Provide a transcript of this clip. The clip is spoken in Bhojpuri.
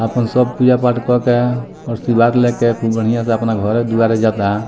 अपन सब पूजा-पाठ करके आशीर्वाद लेके खूब बढ़िया से अपना घरे दुआरे जाता।